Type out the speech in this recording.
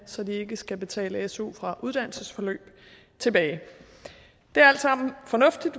så de ikke skal betale su fra uddannelsesforløb tilbage det er alt sammen fornuftigt